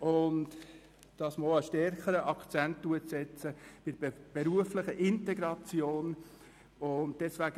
Ein stärkerer Akzent sollte zudem auf die berufliche Integration gesetzt werden.